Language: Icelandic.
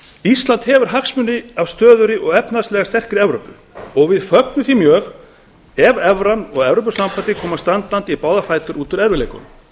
ísland hefur hagsmuni af stöðugri og efnahagslega sterkri evrópu og við fögnum við því mjög ef evran og evrópusambandið koma standandi í báða fætur út úr erfiðleikunum